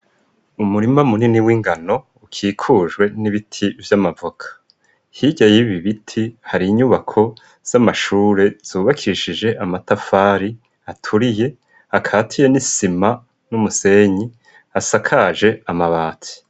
Umurima munini w'ingano ukikujwe n'ibiti vy'amavuka. Hirya bibibiti hari inyubako z'amashure zubakishije amatafari aturiye akatiye n'isima n'umusenyi asakaje amabati.